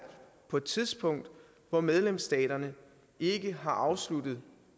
på et tidspunkt hvor medlemsstaterne ikke har afsluttet